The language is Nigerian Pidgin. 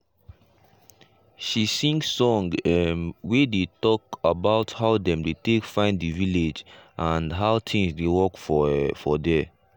she sing song um wey dey talk about how dem take find the village and how things dey work for um der.